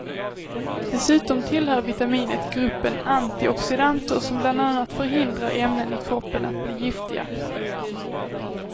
Dessutom tillhör vitaminet gruppen antioxidanter som bland annat förhindrar ämnen i kroppen att bli giftiga.